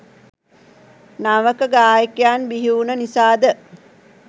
නවක ගායකයන් බිහිවුණ නිසාද?